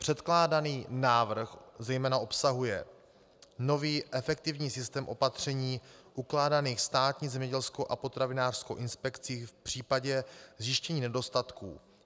Předkládaný návrh zejména obsahuje nový efektivní systém opatření ukládaných státní zemědělskou a potravinářskou inspekcí v případě zjištění nedostatků.